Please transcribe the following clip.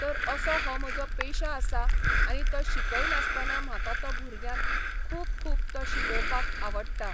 तर असो हो म्हजो पेशा आसा आनी तो शिकयतासतना म्हाका तो भुरग्यांक खूब खूब तो शिकोवपाक आवडटा.